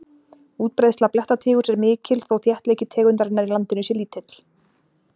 útbreiðsla blettatígurs er mikil þó þéttleiki tegundarinnar í landinu sé lítill